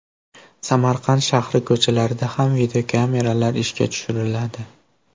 Samarqand shahri ko‘chalarida ham videokameralar ishga tushiriladi.